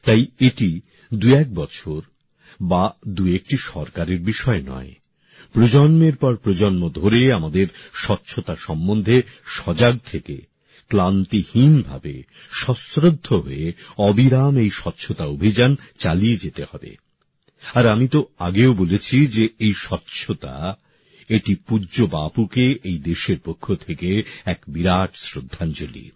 তাই এটি দু এক বছর বা দু একটি সরকারের বিষয় নয় প্রজন্মের পর প্রজন্ম ধরে আমাদের স্বচ্ছতা সম্বন্ধে সজাগ থেকে ক্লান্তিহীনভাবে সশ্রদ্ধ হয়ে অবিরাম এই স্বচ্ছতা অভিযান চালিয়ে যেতে হবে আর আমি তো আগেও বলেছি যে এই স্বচ্ছতা এটি পূজ্য বাপুকে এই দেশের পক্ষ থেকে এক বিরাট শ্রদ্ধাঞ্জলি